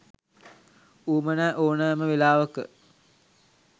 උවමනා ඕනෑම වෙලාවක